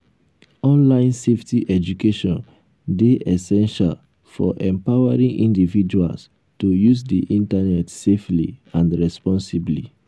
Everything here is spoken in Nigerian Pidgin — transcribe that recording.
online safety education dey essential for empowering individuals to use di internet safely and responsibly.